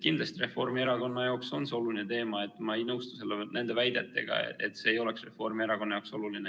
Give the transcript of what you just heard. Kindlasti Reformierakonna jaoks on see oluline teema, ma ei nõustu nende väidetega, et see ei ole Reformierakonna jaoks oluline.